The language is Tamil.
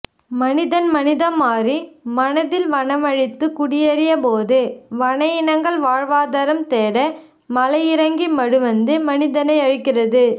மனிதன் மனிதம்மாறி மனதில் வனமழித்து குடியறியபோது வன இனங்கள் வாழ்வாதாரம்தேட மலையிறங்கி மடுவந்து மனிதனையழிக்கிறது